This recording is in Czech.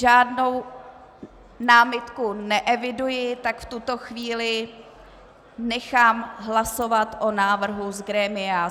Žádnou námitku neeviduji, tak v tuto chvíli nechám hlasovat o návrhu z grémia.